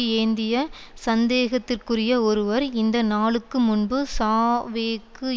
ஏந்திய சந்தேகத்துக்குரிய ஒருவர் இந்த நாளுக்கு முன்பு சாவேக்கு